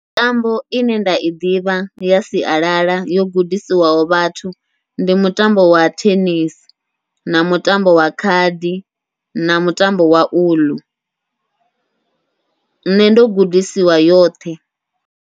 Mitambo ine nda i ḓivha ya sialala yo gudisiwaho vhathu, ndi mutambo wa thenisi, na mutambo wa khadi, na mutambo wa uḽu nṋe ndo gudisiwa yoṱhe.